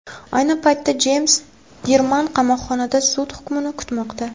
Ayni paytda Jeyms Dirman qamoqxonada sud hukmini kutmoqda.